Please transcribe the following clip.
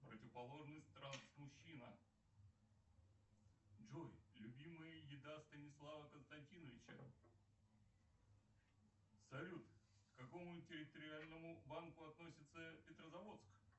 противоположность транс мужчина джой любимая еда станислава константиновича салют к какому территориальному банку относится петрозаводск